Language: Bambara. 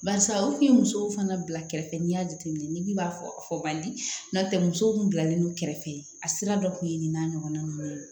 Barisa u tun ye musow fana bila kɛrɛfɛ n'i y'a jateminɛ ni bi b'a fɔ bandi n'o tɛ musow kun bilalen don kɛrɛfɛ a sira dɔ kun ye nin n'a ɲɔgɔnna ninnu ye